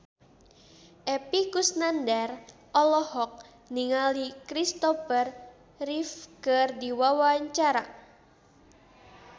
Epy Kusnandar olohok ningali Christopher Reeve keur diwawancara